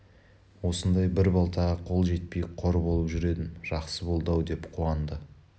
осындай бір балтаға қол жетпей қор болып жүр едім жақсы болды-ау деп қуанды